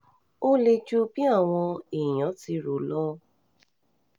ó le ju bí àwọn èèyàn ti rò ó lọ